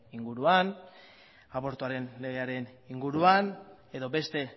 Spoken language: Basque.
inguruan abortuaren legean inguruan edo beste